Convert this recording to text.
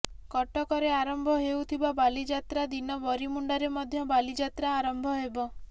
କଟକରେ ଆରମ୍ଭ ହେଉଥିବା ବାଲିଯାତ୍ରା ଦିନ ବରିମୁଣ୍ଡରେ ମଧ୍ୟ ବାଲିଯାତ୍ରା ଆରମ୍ଭ ହେବ